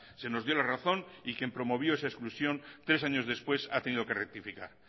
se nos dio la razón y quien promovió esa exclusión tres años después ha tenido que rectificar